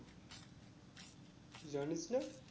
জানিস না?